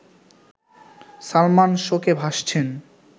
সালমান শোকে ভাসছেন